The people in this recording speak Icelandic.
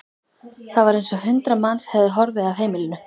Það var eins og hundrað manns hefðu horfið af heimilinu.